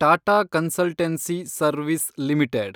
Tata consultancy service limited